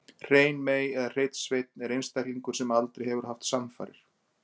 Hrein mey eða hreinn sveinn er einstaklingur sem aldrei hefur haft samfarir.